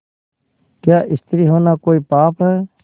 क्या स्त्री होना कोई पाप है